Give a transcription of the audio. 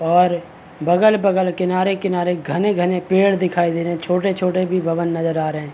और बगल-बगल किनारे-किनारे घने-घने पेड़ दिखाई दे रहे हैं। छोटे-छोटे भी भवन नजर आ रहे हैं।